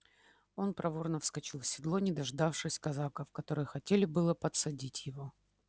он проворно вскочил в седло не дождавшись казаков которые хотели было подсадить его